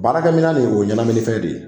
Baarakɛ minɛn ni o ye ɲɛnaminifɛn de ye.